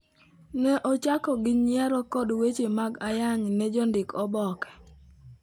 Ne ochako gi nyiero kod weche mag ayany ne jondik oboke.